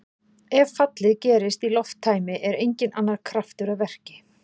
Ef fallið gerist í lofttæmi er enginn annar kraftur að verki.